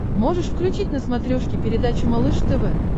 можешь включить на смотрешке передачу малыш тв